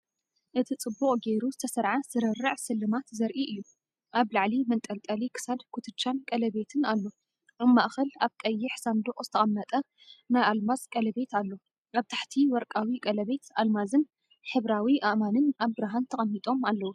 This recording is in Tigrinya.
እቲ ጽቡቕ ጌሩ ዝተሰርዐ ስርርዕ ስልማት ዘርኢ እዩ። ኣብ ላዕሊ መንጠልጠሊ ክሳድ፡ ኩትቻን ቀለቤትን ኣሎ። ኣብ ማእከል ኣብ ቀይሕ ሳንዱቕ ዝተቐመጠ ናይ ኣልማዝ ቀለቤት ኣሎ። ኣብ ታሕቲ ወርቃዊ ቀለቤት፡ ኣልማዝን ሕብራዊ ኣእማንን ኣብ ብርሃን ተቐሚጦም ኣለዉ።